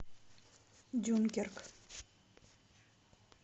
дюнкерк